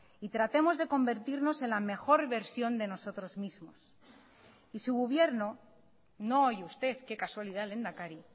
y tratemos de convertirnos en la mejor versión de nosotros mismos y su gobierno no hoy usted qué casualidad lehendakari